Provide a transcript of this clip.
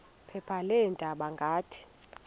phepha leendaba ngathi